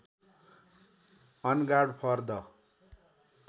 on guard for the